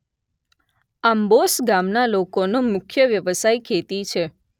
આંબોસ ગામના લોકોનો મુખ્ય વ્યવસાય ખેતી છે